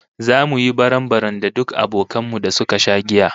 Zamu yi barambaram da duk abokan mu da suka sha giya